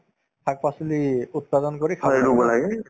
শাক-পাচলি উৎপাদন কৰি খাই লব লাগে